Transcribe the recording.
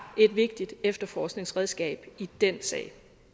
et vigtigt efterforskningsredskab i den sag